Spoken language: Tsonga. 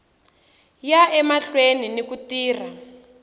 ya emahlweni ni ku tirha